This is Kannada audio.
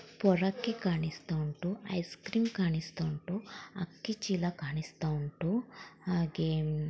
ಪೊರ್ಕಿ ಕಾಣಿಸ್ತಾ ಉಂಟು ಐಸ್ ಕ್ರೀಂ ಕಾಣಿಸ್ತಾ ಉಂಟು ಅಕ್ಕಿ ಚೀಲ ಕಾಣಿಸ್ತಾ ಉಂಟು ಹಾಗೆ.